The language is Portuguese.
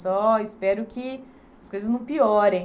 Só espero que as coisas não piorem.